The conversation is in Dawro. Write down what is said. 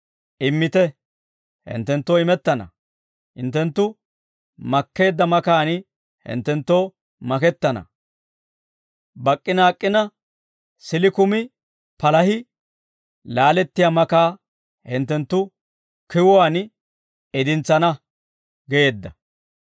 Immite; hinttenttoo imettana. Hinttenttu makkeedda makaan hinttenttoo makettana. Bak'k'i naak'k'ina siilli kumi palah laalettiyaa makaa hinttenttu kiwuwaan idintsana» geedda.